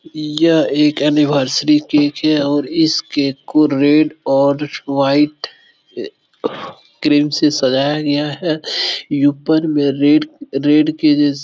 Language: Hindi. यह एक एनिवर्सरी केक है और इस केक को रेड और व्हाइट क्रीम से सजाया गया है ये ऊपर में रेड रेड के जैसा --